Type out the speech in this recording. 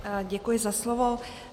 Děkuji za slovo.